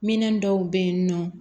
Minɛn dɔw be yen nɔ